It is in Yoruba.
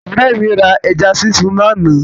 Ọ̀rẹ́ mi ra ẹja sísun lánàá.